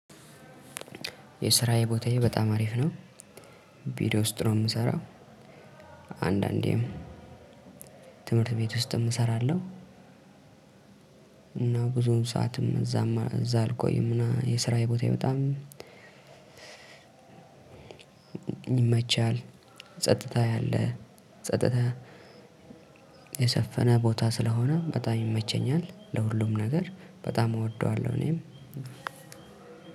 የስራዬ ቦታዬ በጣም አሪፍ ነው ቪዲዮ ውስጥ ነው እምሰራው። አንዳንዴም ትምህርት ቤት ውስጥም እሰራለሁ። እና ብዙም ሰዓትም እዛም እዛ አልቆይምና የስራዬ ቦታዬ በጣም ይመቻል። ጸጥታ ያለ ጸጥታ የሰፈነ ቦታ ስለሆነ በጣም ይመቸኛል ለሁሉም ነገር በጣም እወደዋለሁ እኔም።